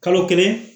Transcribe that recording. Kalo kelen